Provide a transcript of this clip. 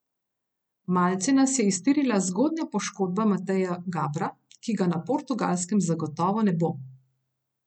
Malce nas je iztirila zgodnja poškodba Mateja Gabra, ki ga na Portugalskem zagotovo ne bo.